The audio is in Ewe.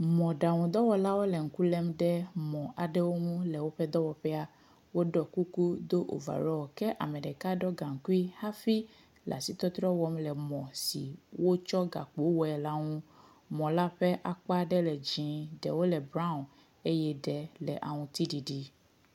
Mɔɖaŋu dɔwɔlawo le ŋku lem ɖe mɔ aɖewo ŋu le wóƒe dɔwɔƒɛa woɖó kuku dó ovarɔ ke ameɖeka ɖɔ gaŋkui hafi le asitɔtrɔ wɔm le mɔ si wotsɔ gakpowo wɔe la ŋu mɔ la ƒe akpaɖe le dzĩe ɖewo le brown eye ɖe le aŋutiɖiɖi